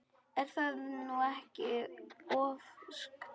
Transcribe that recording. Er það nú ekki ofsagt?